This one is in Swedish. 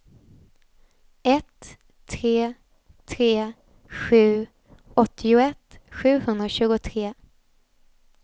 ett tre tre sju åttioett sjuhundratjugotre